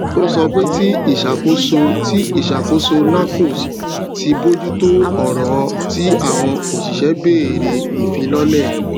ò sọ pé tí ìṣàkóso tí ìṣàkóso nahcos ti bojùtò ọrọ tí àwọn òṣìṣẹ béèrè ìfilọlẹ